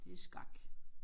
Det er skak